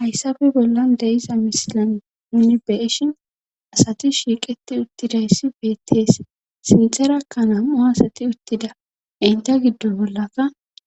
hayssabe bolla deiza misilan ini beeshin asati shiiqeti uttidayssi beettees sinterakka nam7u asati uttida inta giddo bollaka